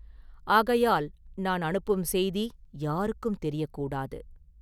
ஆகையால் நான் அனுப்பும் செய்தி யாருக்கும் தெரியக் கூடாது.